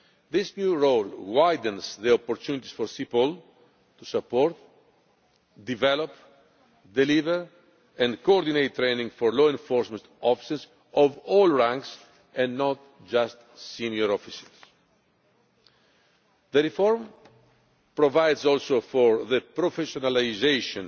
This new role widens the opportunities for CEPOL to support, develop, deliver and coordinate training for law enforcement officers of all ranks, and not just senior officers. The reform also provides for the professionalisation